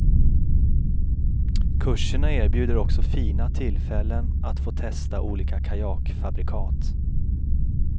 Kurserna erbjuder också fina tillfällen att få testa olika kajakfabrikat.